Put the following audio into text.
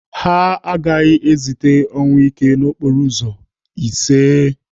Ha agaghị ezite ọnwụike n'okporo ụzọ, iseee!